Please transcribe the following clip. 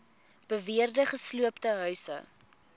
beweerde gesloopte huise